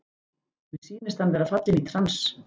Mér sýnist hann vera fallinn í trans.